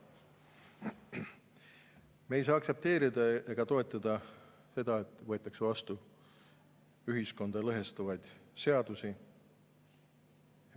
Me ei saa aktsepteerida ega toetada seda, et võetakse vastu ühiskonda lõhestavaid seadusi.